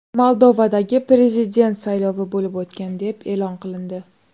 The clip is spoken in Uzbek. Moldovadagi prezident saylovi bo‘lib o‘tgan deb e’lon qilindi.